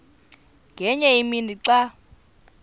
ngenye imini xa